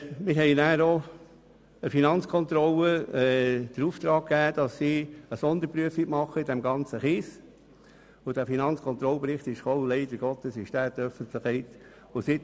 Wir haben der Finanzkontrolle den Auftrag für eine Sonderprüfung in diesem ganzen Kiesbereich gegeben, und dieser Bericht der Finanzkontrolle ist leider an die Öffentlichkeit gelangt.